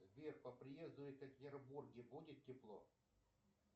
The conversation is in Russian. сбер по приезду в екатеринбурге будет тепло